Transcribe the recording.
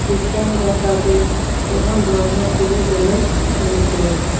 খৃস্টান -রা তাকে প্রধান ধর্মগুরু বলে মেনে চলেছে।